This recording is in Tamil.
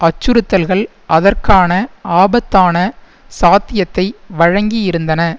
அச்சுறுத்தல்கள் அதற்கான ஆபத்தான சாத்தியத்தை வழங்கி இருந்தன